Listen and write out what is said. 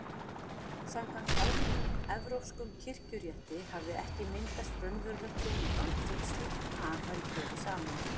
Samkvæmt almennum evrópskum kirkjurétti hafði ekki myndast raunverulegt hjónaband þótt slíkt par væri gefið saman.